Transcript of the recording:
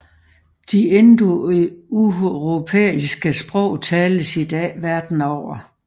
De indoeuropæiske sprog tales i dag verden over